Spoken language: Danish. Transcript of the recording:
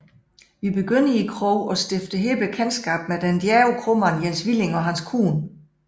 Vi begynder i kroen og stifter her bekendtskab med den djærve kromand Jens Willing og hans kone